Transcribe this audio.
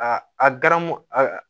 A a garamu a